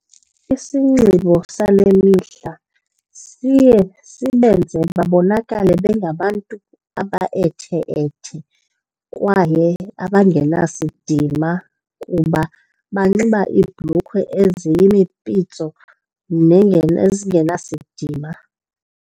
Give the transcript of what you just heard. Isinxibo sale mihla siye sibenze babonakale bengabantu abaethe-ethe kwaye abangenasidima kuba banxiba iibhlukhwe eziyimipitso nezingenasidima.